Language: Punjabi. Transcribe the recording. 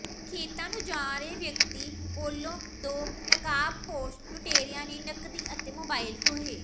ਖੇਤਾਂ ਨੂੰ ਜਾ ਰਹੇ ਵਿਅਕਤੀ ਕੋਲੋਂ ਦੋ ਨਕਾਬਪੋਸ਼ ਲੁਟੇਰਿਆਂ ਨੇ ਨਕਦੀ ਅਤੇ ਮੋਬਾਈਲ ਖੋਹੇ